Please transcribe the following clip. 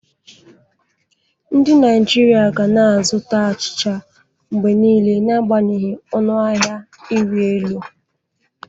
Ndị Naijiria ga na-azụta achịcha mgbe niile n'agbanyeghị ọnụ ahịa ịrị elu